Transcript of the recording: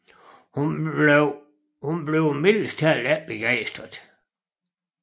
Hun bliver mildest talt ikke begejstret